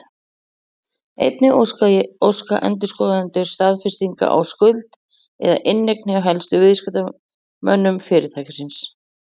Einnig óska endurskoðendur staðfestinga á skuld eða inneign hjá helstu viðskiptamönnum fyrirtækisins.